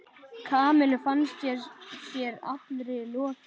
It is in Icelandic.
Kamillu fannst sér allri lokið.